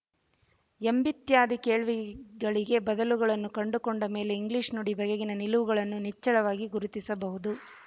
ಎಂಬಿತ್ಯಾದಿ ಕೇಳ್ವಿಗಳಿಗೆ ಬದಲುಗಳನ್ನು ಕಂಡುಕೊಂಡ ಮೇಲೆ ಇಂಗ್ಲಿಶು ನುಡಿ ಬಗೆಗಿನ ನಿಲುವುಗಳನ್ನು ನಿಚ್ಚಳವಾಗಿ ಗುರುತಿಸಬಹುದು